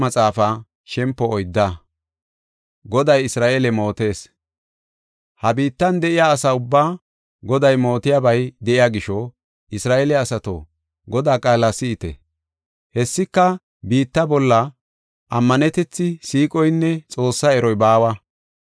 Ha biittan de7iya asa ubbaa, Goday mootiyabay de7iya gisho, Isra7eele asato, Godaa qaala si7ite. Hessika, biitta bolla ammanetethi, siiqoynne Xoossaa eroy baawa.